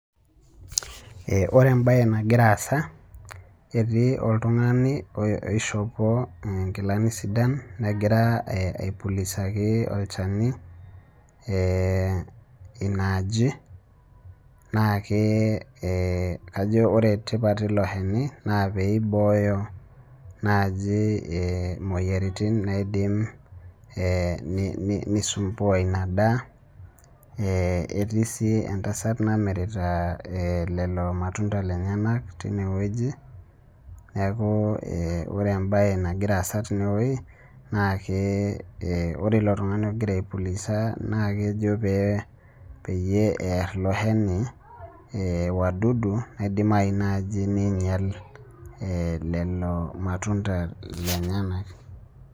Ee ore ebae nagira aasa, etoii oltungani osihopoo inkilani sidan, negira aipulisaki olchani ina aji. naa kee ee kajo ore tipat eilo shani naa peibooyo naaji, ee imoyiaritin naidim, ee nismbua ina daa, ee etii sii entasat namirita, ee lelo matunda lenyenak teine wueji, neeku oore ebae nagira aasa tine wueji, naa ke ke ore ilo tungani ogira aipulisa na kejo peyie, eer iloshani, ee wadudu naidimayu naaji niing'ial lelo matunda lenyenak.